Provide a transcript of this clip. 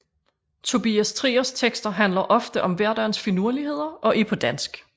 Tobias Triers tekster handler ofte om hverdagens finurligheder og er på dansk